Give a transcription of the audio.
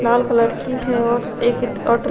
लाल colour की है और एक वाटर --